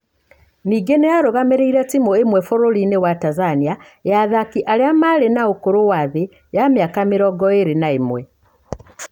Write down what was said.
Ningĩ nĩ arũgamĩrĩire timu ĩmwe bũrũri-inĩ wa Tanzania ya athaki arĩa marĩ na ũkũrũ wa thĩ ya mĩaka mĩrongoirĩ na ĩmwe.